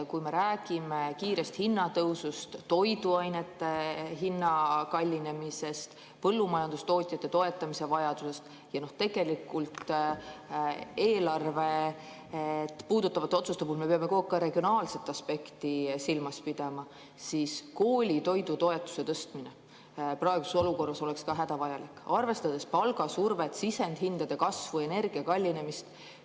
Kui me räägime kiirest hinnatõusust, toiduainete kallinemisest, põllumajandustootjate toetamise vajadusest, sellest, et eelarvet puudutavate otsuste puhul me peame kogu aeg ka regionaalset aspekti silmas pidama, siis koolitoidutoetuse tõstmine oleks praeguses olukorras hädavajalik, arvestades palgasurvet, sisendhindade kasvu, energia kallinemist.